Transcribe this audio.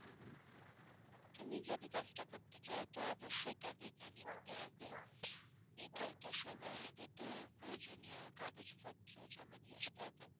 তুমি যদি কাজটা করতে চাও তো অবশ্যই তাদের জানিয়ে দিতে হবে নির্ধারিত সময় এর ভিতর প্রয়োজনীয় কাগজপত্র জমা দিয়ে আসতে হবে।